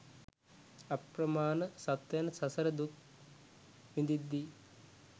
අප්‍රමාණ සත්වයන් සසර දුක් විඳිද්දී